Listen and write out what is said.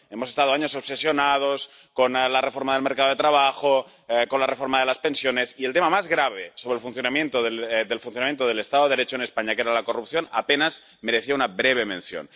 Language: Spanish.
Hemos estado años obsesionados con la reforma del mercado de trabajo, con la reforma de las pensiones, y el tema más grave sobre el funcionamiento del Estado de Derecho en España, que era la corrupción, apenas merecía una breve mención.